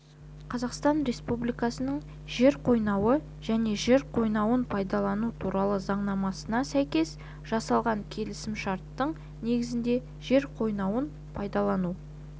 қазақстан республикасының жер қойнауы және жер қойнауын пайдалану туралы заңнамасына сәйкес жасалған келісімшарттың негізінде жер қойнауын пайдалану